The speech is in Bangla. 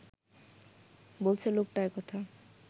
বলছে লোকটা একথা